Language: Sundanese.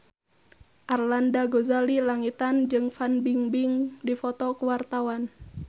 Arlanda Ghazali Langitan jeung Fan Bingbing keur dipoto ku wartawan